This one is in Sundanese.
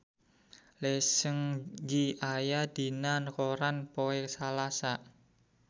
Lee Seung Gi aya dina koran poe Salasa